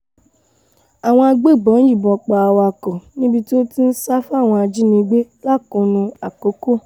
àwọn agbébọn yìnbọn pa awakọ̀ níbi tó ti ń sá fáwọn ajìnígbé lákùnnù àkókò